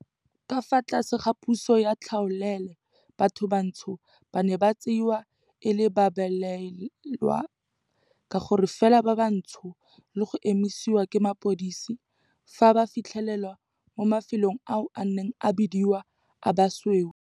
Ka fa tlase ga puso ya tlhaolele, batho bantsho ba ne ba tsewa e le babelaelwa ka gore fela ba bantsho le go emisiwa ke mapodisi fa ba fitlhelwa mo mafelong ao a neng a bidiwa a basweu.